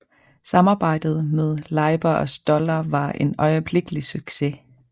Samarbejdet med Leiber og Stoller var en øjeblikkelig succes